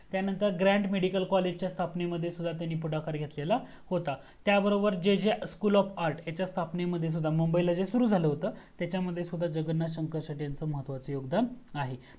त्यानंतर grand medical college च्या स्थापनेमध्ये सुद्धा त्यांनी पुढाकार घेतलेला होता आणि त्या बरोबर J J school of arts च्या स्थापणे मध्ये सुद्धा मुंबई मध्ये जे सुरू झाल होत त्याच्यामध्ये जगन्नाथ शंकर शेटे यांचं महत्वाचा योगदान आहे